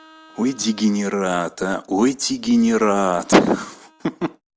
ой дегенерат а ой дегенерат ха-ха